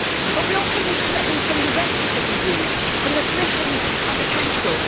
But we also need commitment from the rest of the EU from the Commission and the Council.